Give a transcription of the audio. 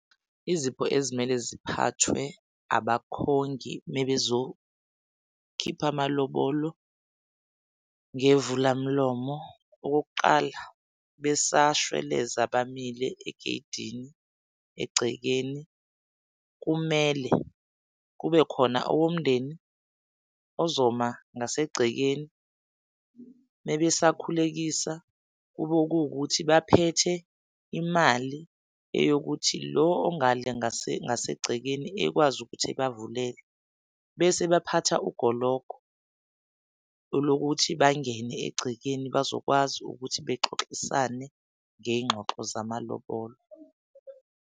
Izipho ezimele ziphathwe abakhongi mebezokhipha amalobolo ngevula mlomo, okokuqala besashweleza bamile egey'dini egcekeni. Kumele kube khona owomndeni ozoma ngasegcekeni. Mebesakhulekisa kube kuwukuthi baphethe imali eyokuthi lo ongale ngase ngasegcekeni ekwazi ukuthi ebavulele bese baphatha ugologo olokuthi bangene egcekeni, bazokwazi ukuthi bexoxisane ngey'ngxoxo zamalobolo.